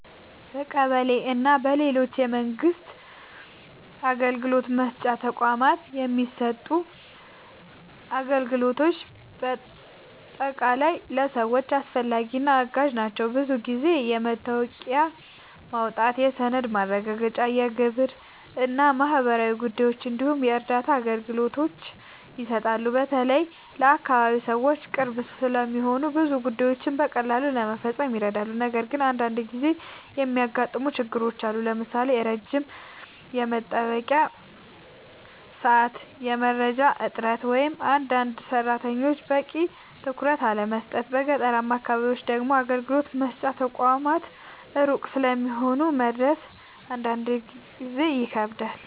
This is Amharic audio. በቀበሌ እና በሌሎች የመንግስት አገልግሎት መስጫ ተቋማት የሚሰጡ አገልግሎቶች በአጠቃላይ ለሰዎች አስፈላጊ እና አጋዥ ናቸው። ብዙ ጊዜ የመታወቂያ ማውጣት፣ የሰነድ ማረጋገጫ፣ የግብር እና ማህበራዊ ጉዳዮች እንዲሁም የእርዳታ አገልግሎቶች ይሰጣሉ። በተለይ ለአካባቢ ሰዎች ቅርብ ስለሆኑ ብዙ ጉዳዮችን በቀላሉ ለመፈጸም ይረዳሉ። ነገር ግን አንዳንድ ጊዜ የሚገጥሙ ችግሮችም አሉ፣ ለምሳሌ ረጅም የመጠበቂያ ሰዓት፣ የመረጃ እጥረት ወይም አንዳንድ ሰራተኞች በቂ ትኩረት አለመስጠት። በገጠራማ አካባቢዎች ደግሞ አገልግሎት መስጫ ተቋማት ሩቅ ስለሚሆኑ መድረስ አንዳንድ ጊዜ ይከብዳል።